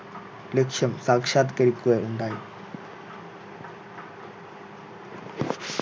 ലക്ഷ്യം സാക്ഷാത്കരിക്കുക ഉണ്ടായി